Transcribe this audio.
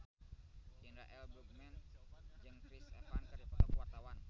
Indra L. Bruggman jeung Chris Evans keur dipoto ku wartawan